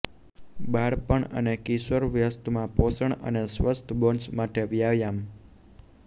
બાળપણ અને કિશોરવસ્થામાં પોષણ અને સ્વસ્થ બોન્સ માટે વ્યાયામ